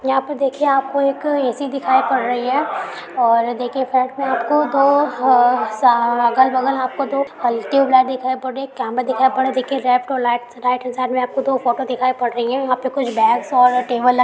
यहा पर देखिए आपको एक ए.सी. दिखाई पड़ रही है और देखिए फ्लेट में आपको दो ह स अगल बगल आपको दो हल्के ट्यूबलाइट दिखाई पड़ रही है कैमरा दिखाई पड़ रहा है। देखिए लेफ्ट और लाइट हेंड साइड में आपको दो फ़ोटो दिखाई पड़ रही है। यहां पे कुछ बेग्स और टेबल लगे --